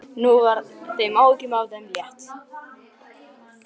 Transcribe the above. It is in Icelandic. Nú var þeim áhyggjum af þeim létt.